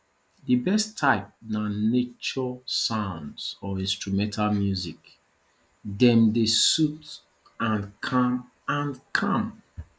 di best type na nature sounds or instrumental music dem dey sooth and calm and calm